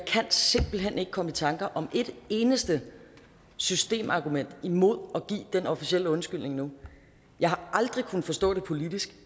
simpelt hen ikke komme i tanker om et eneste systemargument imod at give den officielle undskyldning nu jeg har aldrig kunnet forstå det politisk